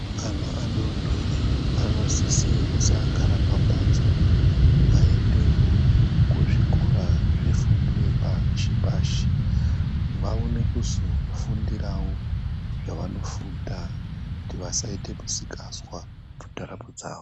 Ana adori dori anosisa kusagara pambatso, vaendewo kuzvikora zvefundo yepashi pashi vaone kuzofundirawo zvavanofunda kuti vasaite misikazwa mundaramo dzawo.